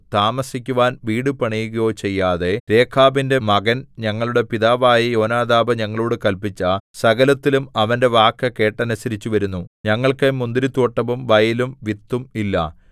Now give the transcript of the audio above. താമസിക്കുവാൻ വീടു പണിയുകയോ ചെയ്യാതെ രേഖാബിന്റെ മകൻ ഞങ്ങളുടെ പിതാവായ യോനാദാബ് ഞങ്ങളോടു കല്പിച്ച സകലത്തിലും അവന്റെ വാക്ക് കേട്ടനുസരിച്ചുവരുന്നു ഞങ്ങൾക്ക് മുന്തിരിത്തോട്ടവും വയലും വിത്തും ഇല്ല